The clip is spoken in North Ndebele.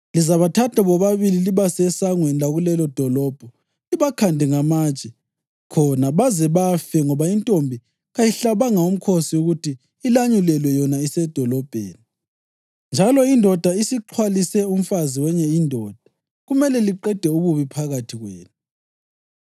lizabathatha bobabili libase esangweni lakulelodolobho libakhande ngamatshe khona baze bafe ngoba intombi kayihlabanga mkhosi ukuthi ilanyulelwe yona isedolobheni, njalo indoda isixhwalise umfazi wenye indoda. Kumele liqede ububi phakathi kwenu.